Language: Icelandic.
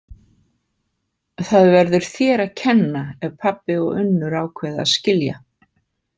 Það verður þér að kenna ef pabbi og Unnur ákveða að skilja.